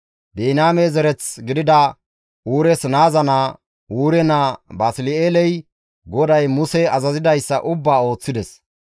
Biniyaame zereth gidida Uures naaza naa, Uure naa, Basli7eeley GODAY Muse azazidayssa ubbaa ooththides.